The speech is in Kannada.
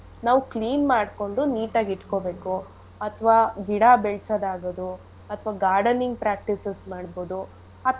ನಾವು clean ಮಾಡ್ಕೊಂಡು neat ಆಗಿ ಇಟ್ಕೊಬೇಕು ಅಥವಾ ಗಿಡ ಬೆಳಸದಾಗದು ಅಥವಾ gardening practices ಮಾಡ್ಬೋದು.